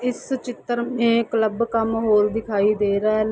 इस चितर में क्लब का माहौल दिखाई दे रहा है।